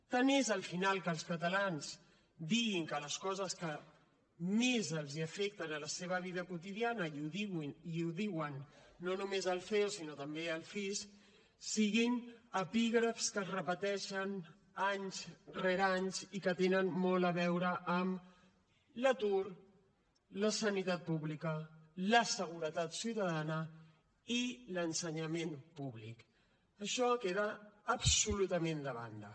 tant és al final que els catalans diguin que les coses que més els afecten la seva vida quotidiana i ho diu no només el ceo sinó també el cis siguin epígrafs que es repeteixen any rere any i que tenen molt a veure amb l’atur la sanitat pública la seguretat ciutadana i l’ensenyament públic això queda absolutament de banda